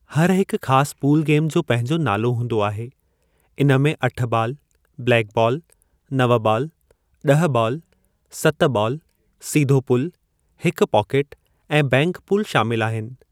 हर हिकु ख़ासि पूल गेम जो पंहिंजो नालो हूंदो आहे; इन में अठ बालु, ब्लैकबॉल, नव बालु, ड॒ह बालु, सत बालु, सीधो पूल, हिकु पॉकेट, ऐं बैंक पूल शामिलु आहिनि।